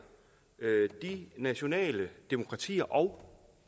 de nationale demokratier og